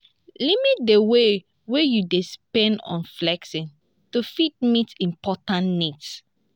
limit di way wey you dey spend on flexing to fit meet important needs